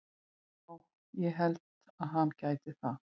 Já ég held að hann gæti það.